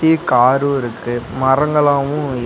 சுத்தி காரு இருக்கு மரங்களாவு இருக்--.